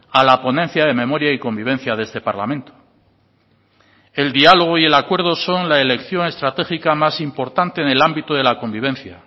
a la ponencia de memoria y convivencia de este parlamento el diálogo y el acuerdo son la elección estratégica más importante en el ámbito de la convivencia